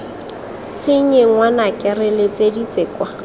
tshenye ngwanaka re letseditse kwa